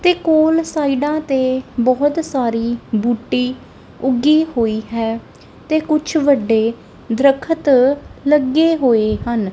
ਤੇ ਕੋਲ ਸਾਈਡਾਂ ਤੇ ਬਹੁਤ ਸਾਰੀ ਬੂਟੀ ਉੱਗੀ ਹੋਈ ਹੈ ਤੇ ਕੁਛ ਵੱਡੇ ਦਰੱਖਤ ਲੱਗੇ ਹੋਏ ਹਨ।